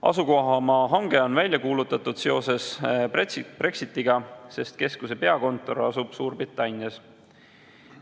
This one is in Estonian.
Asukohamaa hange on välja kuulutatud seoses Brexitiga, sest keskuse peakontor asub Suurbritannias.